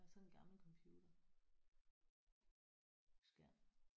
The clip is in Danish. Sådan en gammel computerskærm